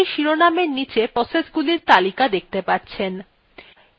আপনি cmd শিরোনামএর নীচে processগুলির name দেখতে পাচ্ছেন